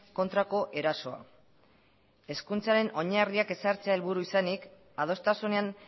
kontrako erasoa hezkuntzaren oinarriak ezartzea helburu izanik adostasunean